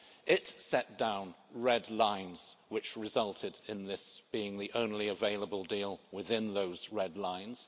It set down red lines which resulted in this being the only available deal within those red lines.